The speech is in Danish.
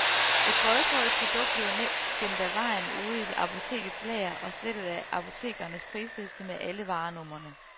Et boykottet produkt bliver gemt af vejen ude i apotekets lager og slettet af apotekernes prisliste med alle varenumrene.